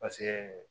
Paseke